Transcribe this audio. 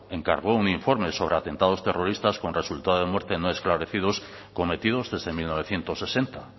encargó un informe sobre atentados terroristas con resultado de muerte no esclarecidos cometidos desde mil novecientos sesenta